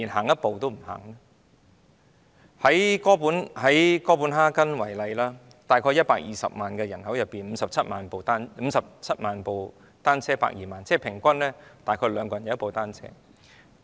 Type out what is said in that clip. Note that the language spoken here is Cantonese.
以哥本哈根為例，在約120萬人口中，有57萬輛單車，即平均每2人便有1輛單車。